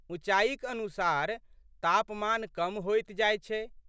ऊँचाइक अनुसार तापमान कम होइत जाइत छै।